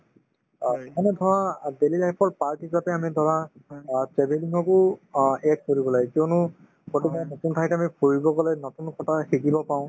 অ মানে ধৰা অ daily life ৰ part হিচাপে আমি ধৰা অ travelling কো অ add কৰিব লাগে কিয়নো কৰবাত নতুন ঠাইত আমি ফুৰিব গলে নতুন কথা শিকিব পাওঁ